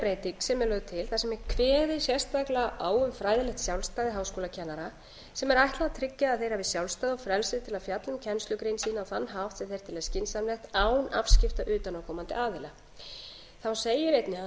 breyting sem er lögð til þar sem er kveðið sérstaklega á um um fræðilegt sjálfstæði háskólakennara sem er ætlað að tryggja að þeir hafi sjálfstæði og frelsi til að fjalla um kennslugrein sína á þann hátt sem þeir telja skynsamlegt án afskipta utanaðkomandi aðila þá segir einnig að